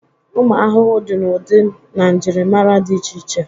ụmụ ahụhụ dị n'ụdị na njirimara dị iche iche